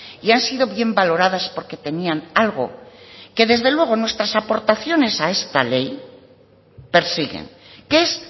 y han sido bien valoradas porque tenían algo que desde luego nuestras aportaciones a esta ley persiguen que es